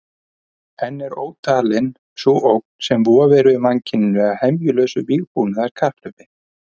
Enn er ótalin sú ógn sem vofir yfir mannkyninu af hemjulausu vígbúnaðarkapphlaupi.